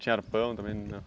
Tinha arpão também ou não?